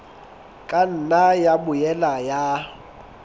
ka nna ya boela ya